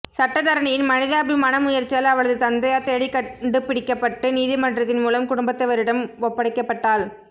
சட்டத்தரணியின் மனிதாபிமான முயற்சியால் அவளது தந்தையார் தேடிக்கண்டு பிடிக்கப்பட்டு நீதிமன்றத்தின் மூலம் குடும்பத்தவரிடம் ஒப்படைக்கப்பட்டாள்